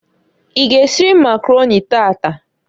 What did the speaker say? I g' esiriri Makaroni taataǃ